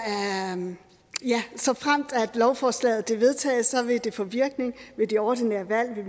atten såfremt lovforslaget vedtages vil det få virkning ved de ordinære valg til